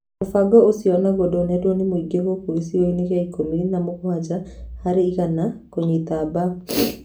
Mũbango ũcio onaguo ndũnendwo nĩ mũingĩ gũkũ gĩcunjĩ kĩa ikũmi na mũgwanja harĩ igana kũnyita mbar